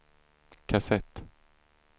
kassett